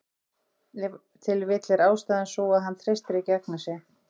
Ef til vill er ástæðan sú að hann treystir ekki Agnesi.